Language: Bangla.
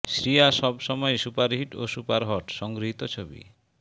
শ্রিয়া সব সময়েই সুপারহিট ও সুপারহট সংগৃহীত ছবি